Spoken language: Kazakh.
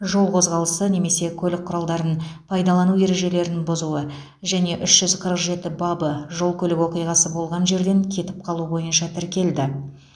жол қозғалысы немесе көлік құралдарын пайдалану ережелерін бұзуы және үш жүз қырық жеті бабы жол көлік оқиғасы болған жерден кетіп қалу бойынша тіркелді